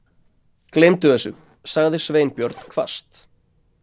Gleymdu þessu- sagði Sveinbjörn hvasst.